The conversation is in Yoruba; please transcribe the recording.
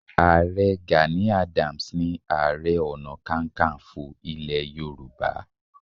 Ààrẹ Gani Adams ni Ààrẹ Ọ̀nàkakanfò ilẹ̀ Y